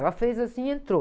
Ela fez assim e entrou.